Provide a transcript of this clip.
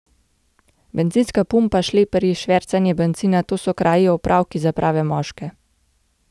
Bencinska pumpa, šleperji, švercanje bencina, to so kraji, opravki za prave moške!